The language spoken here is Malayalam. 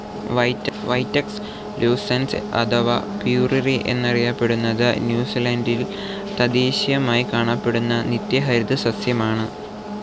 വൈറ്റക്സ് ല്യൂസൻസ് അഥവാ പ്യൂറിറി എന്നറിയപ്പെടുന്നത് ന്യൂസിലാന്റിൽ തദ്ദേശീയമായി കാണപ്പെടുന്ന നിത്യഹരിത സസ്യമാണ്.